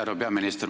Härra peaminister!